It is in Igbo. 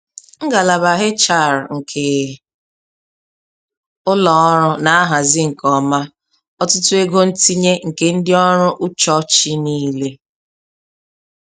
Ngalaba HR nke ụlọ ọrụ na-ahazi nke ọma, ọtụtụ ego ntinye nke ndị ọrụ ụchọchị niile.